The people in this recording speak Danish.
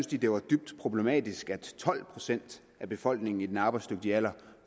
de det var dybt problematisk at tolv procent af befolkningen i den arbejdsdygtige alder